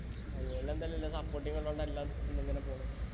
ആ വീട്ടിലെന്തയാലും എല്ലാ supporting ഉള്ളോണ്ട് എല്ലാം ഇന്നിങ്ങനെ പോണു